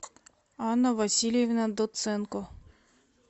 анна васильевна доценко